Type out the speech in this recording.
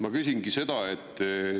Ma küsingi selle kohta.